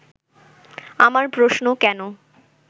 আমার প্রশ্ন, কেন